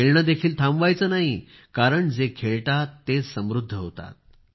खेळणे देखील थांबवायचे नाही कारण जे खेळतात तेच समृद्ध होतात